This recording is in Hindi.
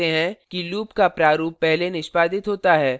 आप देख सकते हैं कि loop का प्रारूप पहले निष्पादित होता है